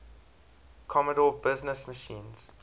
commodore business machines